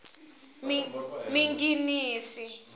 minginisi